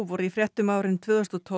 voru í fréttum árin tvö þúsund og tólf